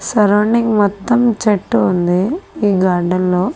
Surrounding మొత్తం చెట్టు ఉంది ఈ గార్డెన్ లో .